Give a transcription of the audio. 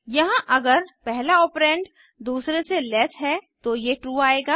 यहाँ अगर पहला ऑपरेंड दूसरे से लेस है तो ये ट्रू आएगा